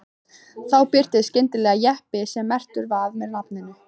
Þá birtist skyndilega jeppi sem merktur var með nafninu